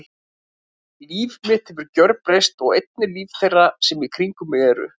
Líf mitt hefur gjörbreyst og einnig líf þeirra sem í kringum mig eru.